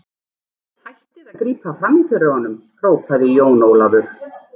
Hættið að grípa framí fyrir honum, hrópaði Jón Ólafur.